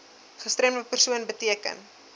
gestremde persoon beteken